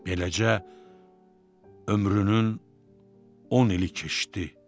Beləcə ömrünün 10 ili keçdi.